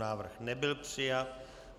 Návrh nebyl přijat.